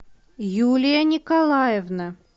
юлия николаевна